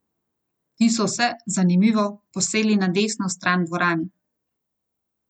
Ti so se, zanimivo, posedli na desno stran dvorane.